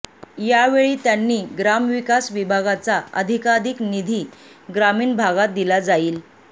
यावेळी त्यांनी ग्रामविकास विभागाचा अधिकाधिक निधी ग्रामीण भागात दिला जाईल